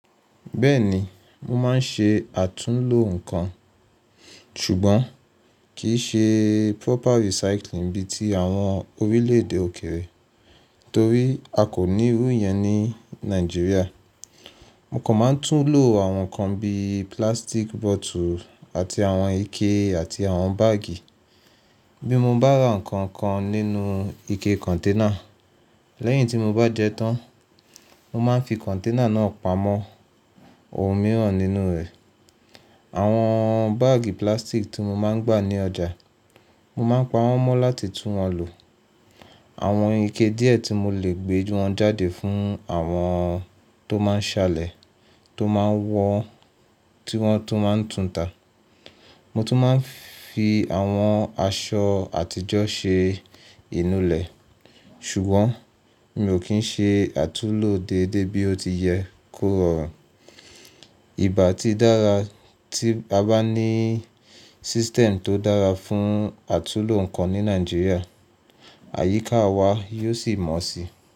Bẹ́ẹ̀ni, mo máa ń ṣe àtúnlo nǹkan, ṣùgbọ́n kì í ṣe proper recycling bí i ti àwọn orílè-èdè òkèèrè torí a kò ní irú yẹn ní Nàìjíríà. Mo kàn máa ń túnlo àwọn nǹkan bí i plastic bottle àti àwọn ike àti àwọn báàgì. Bí mo bá ra nǹkan kan nínú ike container, lẹ́yìn tí mo bá jẹ tán, mo máa ń fi container náà pamọ́ ohun mìíràn nínú rẹ̀. Àwọn báàgì plastic tí mo máa ń gbà ní ọjà, mo máa ń pa wọ́n mọ́ láti tún wọn lò. Àwọn ike díẹ̀ tí mo lè gbé ju wọn jáde fún àwọn tó máa ń ṣalẹ̀, tó máa ń wọ, tí wọ́n tó máa ń túta. Mo tún máa ń fi àwọn aṣọ àtijọ́ ṣe inú ilẹ̀. Ṣùgbọ́n mi ò kí ń ṣe àtúnlo déédéé bí ó ti yẹ kó rọrùn. Í bá ti dára tí a bá ní system tó dára fún àtúnlo nǹkan ní Nàìjíríà, àyíká wa yóò sì mọ́ sí i.